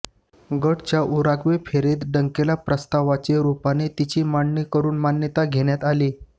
गॅटच्या Uruguay फेरीत Dunkel प्रस्तावाच्या रूपाने तिची मांडणी करून मान्यता घेण्यात आली